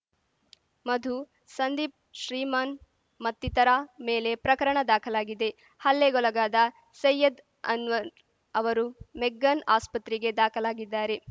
ಮಧು ಸಂದೀಪ್ ಶ್ರೀಮಾನ್‌ ಮತ್ತಿತರ ಮೇಲೆ ಪ್ರಕರಣ ದಾಖಲಾಗಿದೆ ಹಲ್ಲೆಗೊಲಗಾದ ಸೈಯದ್‌ ಅನ್ವರ್‌ ಅವರು ಮೆಗ್ಗಾನ್‌ ಆಸ್ಪತ್ರೆಗೆ ದಾಖಲಾಗಿದ್ದಾರೆ